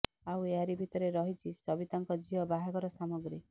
ଆଉ ଏହାରି ଭିତରେ ରହିଛି ସବିତାଙ୍କ ଝିଅ ବାହାଘର ସାମଗ୍ରୀ